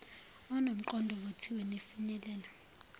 enomqondo ovuthiwe nefinyelele